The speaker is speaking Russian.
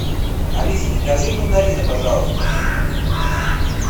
алиса закажи мандарины пожалуйста